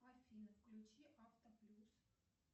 афина включи авто плюс